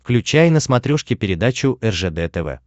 включай на смотрешке передачу ржд тв